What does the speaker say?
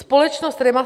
Společnost REMA